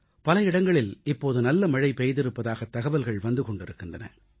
பல இடங்களில் இப்போது நல்ல மழை பெய்திருப்பதாகத் தகவல்கள் வந்து கொண்டிருக்கின்றன